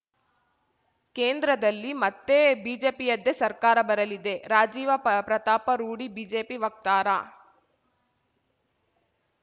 ಕೇಂದ್ರದಲ್ಲಿ ಮತ್ತೆ ಬಿಜೆಪಿಯದ್ದೇ ಸರ್ಕಾರ ಬರಲಿದೆ ರಾಜೀವಪ್ರತಾಪ ರೂಡಿ ಬಿಜೆಪಿ ವಕ್ತಾರ